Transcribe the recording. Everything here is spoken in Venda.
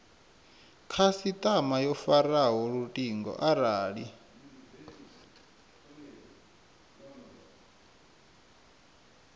khasitama yo faraho lutingo arali